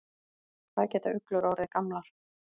Hvað geta uglur orðið gamlar?